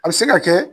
A bɛ se ka kɛ